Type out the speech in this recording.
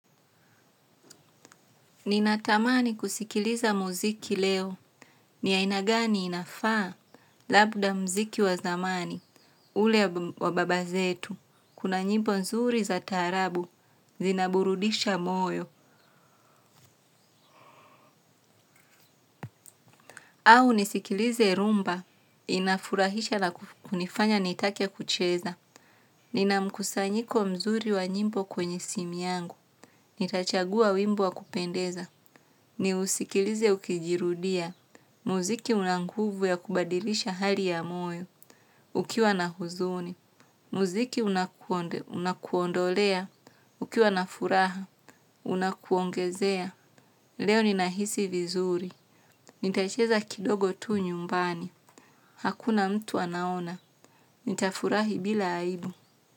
Ninatamani kusikiliza muziki leo ni aina gani inafaa labda mziki wa zamani ule wa baba zetu una nyimbo nzuri za taarabu zinaburudisha moyo. Au nisikilize Rhumba inafurahisha na kunifanya nitake kucheza. Nina mkusanyiko mzuri wa nyimbo kwenye simu yangu. Nitachagua wimbo wa kupendeza. Ni usikilize ukijirudia. Muziki unanguvu ya kubadilisha hali ya moyo. Ukiwa na huzuni. Muziki unakonde, unakuondolea. Ukiwa na furaha, unakuongezea. Leo ni nahisi vizuri. Nitacheza kidogo tu nyumbani. Hakuna mtu anaona. Nitafurahi bila aibu.